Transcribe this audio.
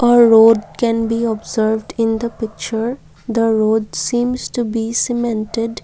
a road can be observed in the picture the the road seems to be cemented.